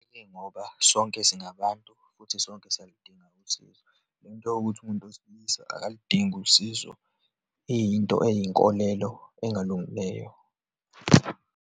Ingoba sonke singabantu futhi sonke siyaludinga usizo. Le nto yokuthi umuntu wesilisa akuludingi usizo iyinto eyinkolelo engalungileyo.